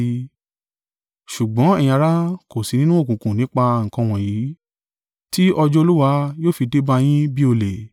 Ṣùgbọ́n ẹ̀yin ará, kò sí nínú òkùnkùn nípa nǹkan wọ̀nyí tí ọjọ́ Olúwa yóò fi dé bá yín bí olè.